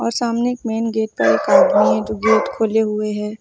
सामने एक main gate पर एक आदमी है जो गेट खोले हुए हैं।